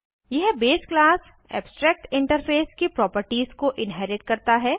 यह base class abstract interface की properties को इन्हेरिट करता है